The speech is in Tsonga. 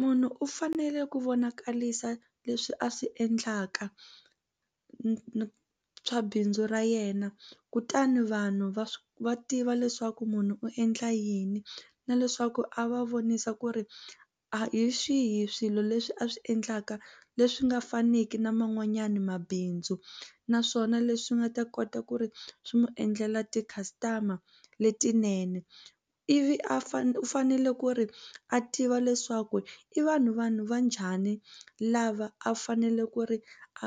Munhu u fanele ku vonakarisa leswi a swi endlaka swa bindzu ra yena kutani vanhu va va tiva leswaku munhu u endla yini na leswaku a va vonisa ku ri a hi swihi swilo leswi a swi endlaka leswi nga faniki na man'wanyani mabindzu naswona leswi nga ta kota ku ri swi n'wi endlela ti-customer letinene ivi a u fanele ku ri a tiva leswaku i vanhu vanhu va njhani lava a fanele ku ri a